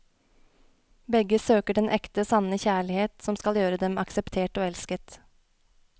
Begge søker den ekte, sanne kjærlighet, som skal gjøre dem akseptert og elsket.